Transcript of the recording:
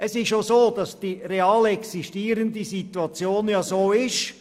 Es ist auch so, dass die real existierende Situation so ist.